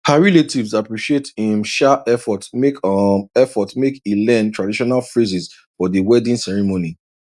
her relatives appreciate im um effort make um effort make e learn traditional phrases for di wedding ceremony